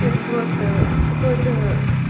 это просто какое то